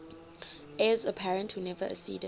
heirs apparent who never acceded